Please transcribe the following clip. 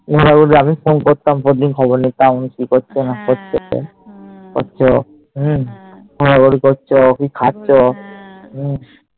আমি Phone করতাম প্রতিদিন খবর নিতাম কি করছো না করছো করছো হম ঘুরাঘুরি করছো কি খাচ্ছ হম